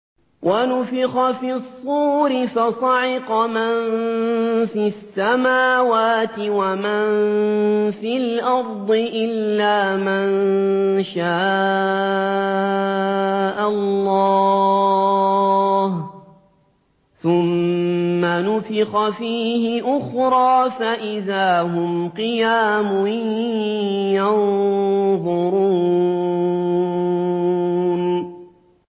وَنُفِخَ فِي الصُّورِ فَصَعِقَ مَن فِي السَّمَاوَاتِ وَمَن فِي الْأَرْضِ إِلَّا مَن شَاءَ اللَّهُ ۖ ثُمَّ نُفِخَ فِيهِ أُخْرَىٰ فَإِذَا هُمْ قِيَامٌ يَنظُرُونَ